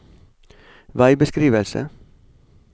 veibeskrivelse